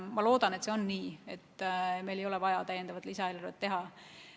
Ma loodan, et läheb nii, et meil ei ole vaja täiendavat lisaeelarvet teha.